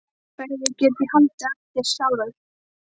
Hverju get ég haldið eftir sjálfur?